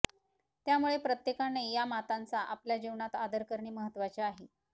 त्यामुळे प्रत्येकाने या मातांचा आपल्या जीवनात आदर करणे महत्त्वाचे आहे